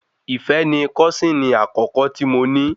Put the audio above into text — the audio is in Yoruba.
Ìfẹ́ ni kọ́sìnì àkọ́kọ́ tí mo ní